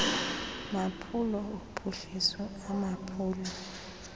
maphulo ophuhliso amaphulo